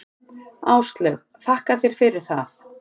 Áslaug: Þakka þér fyrir það.